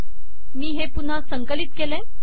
मी हे पुन्हा संकलित केले